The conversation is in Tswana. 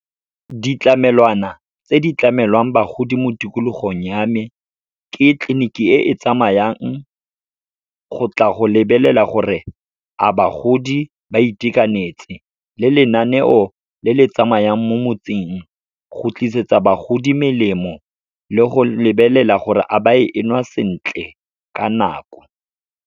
Ditlamelwana tse di tlamelwang bagodi mo tikologong ya me, ke tleliniki e e tsamayang, go tla go lebelela gore a bagodi ba itekanetse. Le lenaneo le le tsamayang mo motseng, go tlisetsa bagodi melemo le go lebelela gore a ba e nwa sentle ka nako.